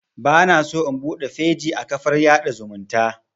Bana so in buɗe feji a kafar yaɗa zumunta